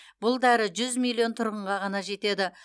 бұл дәрі жүз миллион тұрғынға ғана жетеді